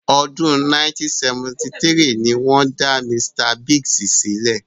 Ọdún 1973 ni wọ́n dá Misita Bíìgì sílẹ̀.